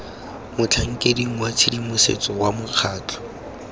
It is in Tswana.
motlhankeding wa tshedimosetso wa mokgatlho